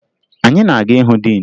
Anyị na-aga ịhụ diin